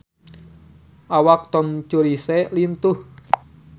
Awak Tom Cruise lintuh